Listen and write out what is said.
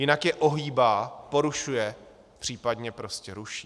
Jinak je ohýbá, porušuje, případně prostě ruší.